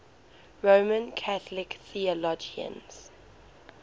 roman catholic theologians